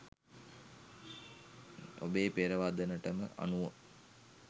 ඔබේ පෙරවදනටම අනුව